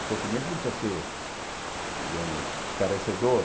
O sofrimento não precisa ser, eh digamos, estarecedor.